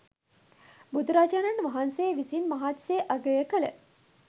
බුදුරජාණන් වහන්සේ විසින් මහත්සේ අගය කළ